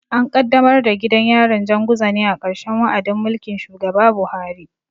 An kaddamar da gidan yarin Janguza ne a ƙarshen wa'adin mulkin shugaba Buhari.